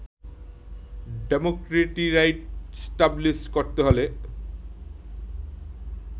democratic right establish করতে হলে